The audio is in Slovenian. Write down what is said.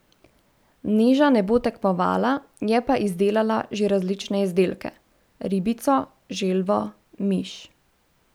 Neža ne bo tekmovala, je pa izdelala že različne izdelke: 'Ribico, želvo, miš.